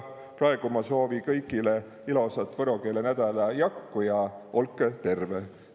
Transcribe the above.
Praegu ma soovi kõigilõ ilosat võro kiile nädäla jakku ja olkõ terve!